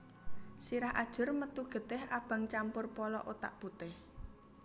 Sirah ajur metu getih abang campur polo otak putih